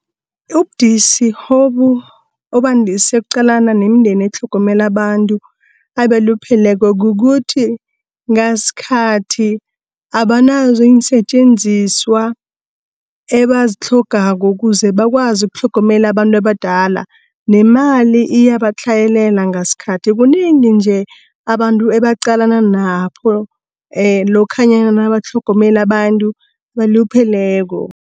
Ubudisi obandise ukuqalana nemndeni etlhogomelo abantu abalupheleko kukuthi, ngaskhathi abanazo iinsetjenziswa ebazitlhogako kuze bakwazi ukutlhogomele abantu abadala. Nemali iyabatlhayelela ngaskhathi kunengi nje, abantu ebaqalane nakho lokhanyana nabatlhogomela bantu abalupheleko